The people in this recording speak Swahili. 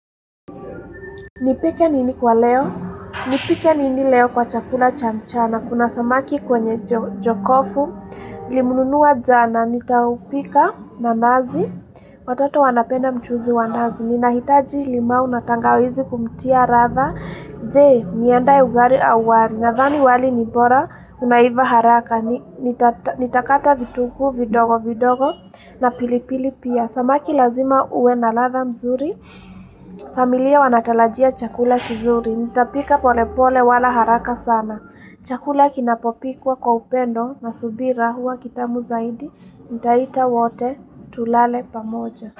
Nipike nini kwa leo? Nipike nini leo kwa chakula cha mchana. Kuna samaki kwenye jokofu. Limununua jana. Nitaupika nanazi. Watoto wanapenda mchuzi wa nazi. Nina hitaji limau na tangawizi kumtia ratha. Jee, niendae ugari au wari, nathani wali ni bora, unaiva haraka, nitakata vituku vidogo vidogo na pilipili pia, samaki lazima ue na latha mzuri, familia wanatalajia chakula kizuri, nitapika pole pole wala haraka sana, chakula kinapopikwa kwa upendo na subira huwa kitamu zaidi, nitaita wote tulale pamoja.